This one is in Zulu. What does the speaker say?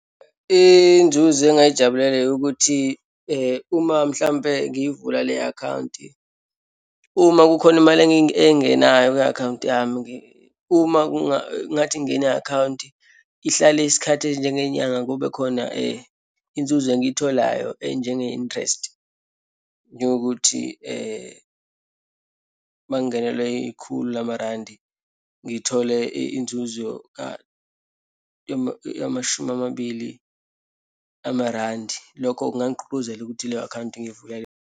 Inzuzo engingayijabulela yokuthi uma mhlampe ngiyivula le akhawunti. Uma kukhona imali engenayo kwi-akhawunti yami , uma ngathi ngine akhawunti ihlale isikhathi esinjengenyanga, kube khona inzuzo engiyitholayo enjenge-interest, njengokuthi uma ngingenelwe ikhulu lamarandi ngithole inzuzo yamashumi amabili amarandi. Lokho kungangigqugquzela ukuthi leyo akhawunti ngiyivule.